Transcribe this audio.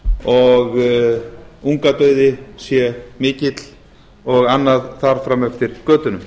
og ungadauði sé mikill og annað þar fram eftir götunum